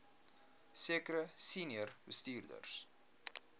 sekere senior bestuurders